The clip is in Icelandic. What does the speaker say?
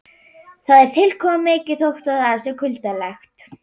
Það er tilkomumikið þótt það sé kuldalegt.